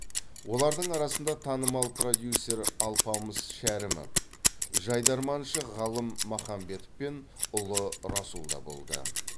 олардың арасында танымал продюсер алпамыс шәрімов жайдарманшы ғалым махамбетов пен ұлы расул да болды